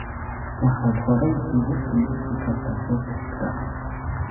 waxaad horay ugu sii gudbi kartaa qaybta xigta